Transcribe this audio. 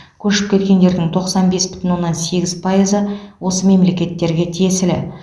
көшіп кеткендердің тоқсан бес бүтін оннан сегіз пайызы осы мемлекеттерге тиесілі